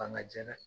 Bangan jɛ dɛ